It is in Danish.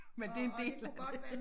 Men det en del af det